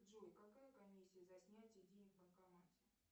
джой какая комиссия за снятие денег в банкомате